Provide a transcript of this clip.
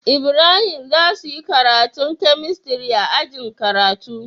Ibrahim zasuyi karanta chemistry a ajin karatu